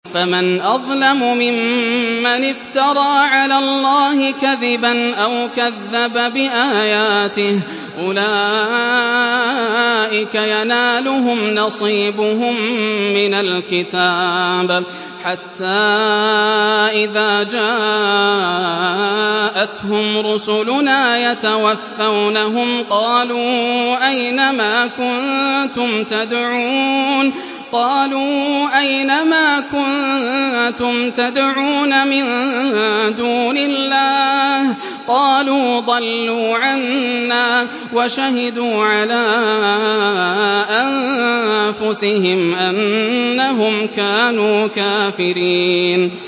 فَمَنْ أَظْلَمُ مِمَّنِ افْتَرَىٰ عَلَى اللَّهِ كَذِبًا أَوْ كَذَّبَ بِآيَاتِهِ ۚ أُولَٰئِكَ يَنَالُهُمْ نَصِيبُهُم مِّنَ الْكِتَابِ ۖ حَتَّىٰ إِذَا جَاءَتْهُمْ رُسُلُنَا يَتَوَفَّوْنَهُمْ قَالُوا أَيْنَ مَا كُنتُمْ تَدْعُونَ مِن دُونِ اللَّهِ ۖ قَالُوا ضَلُّوا عَنَّا وَشَهِدُوا عَلَىٰ أَنفُسِهِمْ أَنَّهُمْ كَانُوا كَافِرِينَ